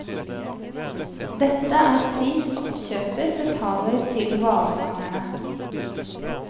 Dette er pris oppkjøper betaler til hvalfangerne.